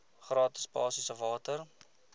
gratis basiese water